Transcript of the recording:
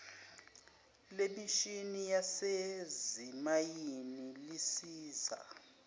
lemishini yasezimayini lisiza